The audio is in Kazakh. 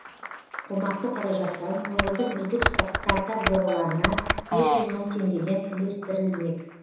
қомақты қаражаттан өңірдің үздік стартап жобаларына бес жүз мың теңгеден үлестірілмек